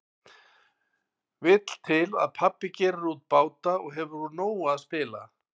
Vill til að pabbi gerir út báta og hefur úr nógu að spila.